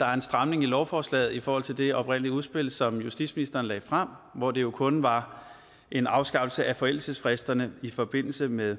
der er en stramning i lovforslaget i forhold til det oprindelige udspil som justitsministeren lagde frem hvor det jo kun var en afskaffelse af forældelsesfristerne i forbindelse med